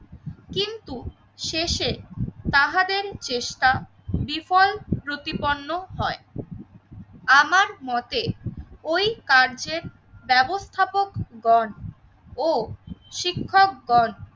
কিন্তু শেষে তাহাদেরই চেষ্টা, বিফল প্রতিপন্ন হয়। আমার মতে ওই কার্যের ব্যবস্থাপকগণ ও শিক্ষকগণ